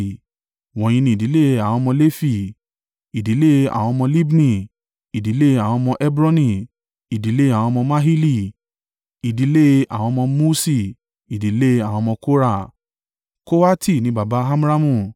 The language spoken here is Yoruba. Wọ̀nyí ni ìdílé àwọn ọmọ Lefi; ìdílé àwọn ọmọ Libni, ìdílé àwọn ọmọ Hebroni, ìdílé àwọn ọmọ Mahili, ìdílé àwọn ọmọ Muṣi, ìdílé àwọn ọmọ Kora. (Kohati ni baba Amramu,